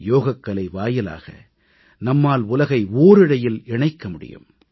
யோகக்கலை வாயிலாக நம்மால் உலகை ஓரிழையில் இணைக்க முடியும்